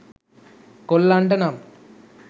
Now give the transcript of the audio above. කොල්ලන්ට නම්